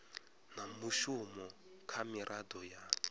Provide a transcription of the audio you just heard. na mushumo kha miraḓo ya